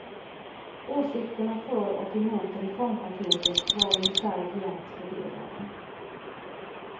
Åsikterna för och emot reformpaketet var ungefär jämnt fördelade.